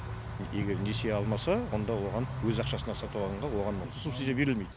егер несие алмаса онда оған өз ақшасына сатып алғанға оған ол субсидия берілмейді